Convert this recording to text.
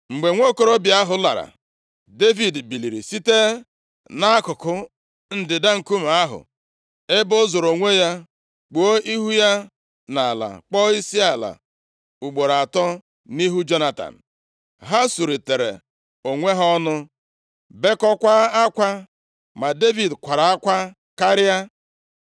Mgbe nwokorobịa ahụ lara, Devid biliri site nʼakụkụ ndịda nkume ahụ ebe o zoro onwe kpuo ihu ya nʼala, kpọọ isiala ugboro atọ, nʼihu Jonatan. Ha suritere onwe ha ọnụ, bekọkwaa akwa. Ma Devid kwara akwa karịa.